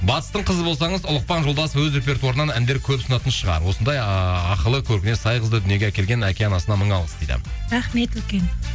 батыстың қызы болсаңыз ұлықпан жолдасов өз репертуарынан әндер көп ұсынатын шығар осындай ааа ақылы көркіне сай қызды дүниеге әкелген әке анасына мың алғыс дейді рахмет үлкен